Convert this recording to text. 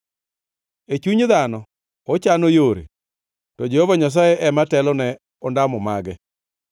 E chuny dhano ochano yore, to Jehova Nyasaye ema telone ondamo mage.